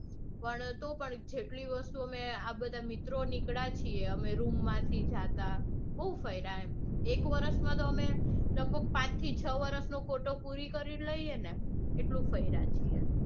પણ તોપણ જેટલી વસ્તુ અમે આ બધા મિત્રો નીકળ્યા છીએ અમે room માંથી જાતા. બૌ ફર્યા એમ. એક વરસમાં તો અમે લઘભગ પાંચથી છ વરસનો કોટો પૂરો કરી લઈને એટલું ફર્યા છીએ.